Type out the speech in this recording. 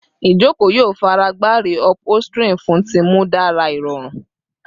Ijoko yoo faragba reupholstering fun ti mu dara irorun